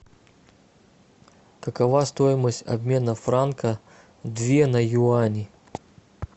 какова стоимость обмена франка две на юани